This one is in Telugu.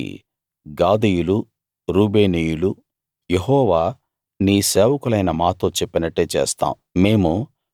దానికి గాదీయులు రూబేనీయులు యెహోవా నీ సేవకులైన మాతో చెప్పినట్టే చేస్తాం